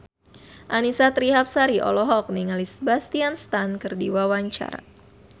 Annisa Trihapsari olohok ningali Sebastian Stan keur diwawancara